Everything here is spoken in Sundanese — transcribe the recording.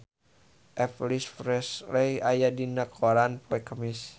Elvis Presley aya dina koran poe Kemis